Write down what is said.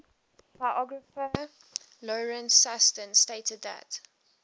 biographer lawrence sutin stated that